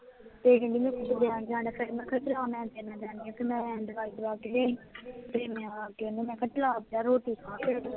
ਫੇਰ ਕਹਿੰਦੀ ਮੈਂ ਜਾਣਾ, ਫੇਰ ਮੈਂ ਕਿਹਾ ਚਲ ਆ ਮੈਂ ਤੇਰੇ ਨਾਲ ਜਾਣੀ ਹਾਂ ਤੇ ਮੈਂ ਦਵਾ ਕੇ ਲਿਆਈ ਤੇ ਮੈਂਆ ਕੇ ਓਹਨੂੰ ਮੈਂ ਕਿਹਾ ਚਲ ਆ ਪਹਿਲਾਂ ਰੋਟੀ ਖਾ